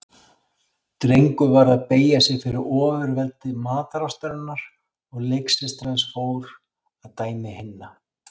Drengur varð að beygja sig fyrir ofurveldi matarástarinnar og leiksystir hans fór að dæmi hinna.